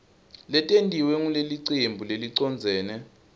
letentiwe ngulelicembu lelicondzene